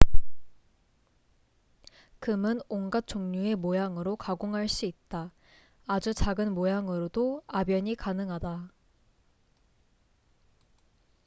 금은 온갖 종류의 모양으로 가공할 수 있다 아주 작은 모양으로도 압연이 가능하다